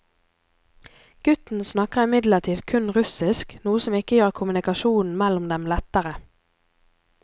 Gutten snakker imidlertid kun russisk, noe som ikke gjør kommunikasjonen mellom dem lettere.